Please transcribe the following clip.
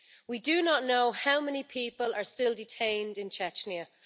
We do not know how many people are still detained in Chechnya